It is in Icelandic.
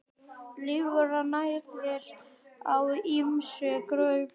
Lirfan nærist á ýmsum grösum.